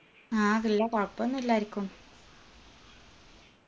ആ ഇല്ല കൊഴപ്പൊന്നു ഇല്ല ആരിക്കും